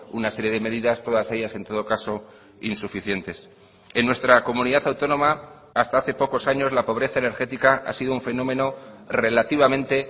una serie de medidas todas ellas en todo caso insuficientes en nuestra comunidad autónoma hasta hace pocos años la pobreza energética ha sido un fenómeno relativamente